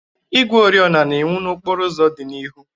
Igwe oriọna na-enwu n'okporo ụzọ dị n'ihu.